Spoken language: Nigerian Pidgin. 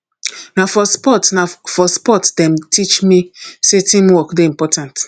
na for sports na for sports dem teach me sey teamwork dey important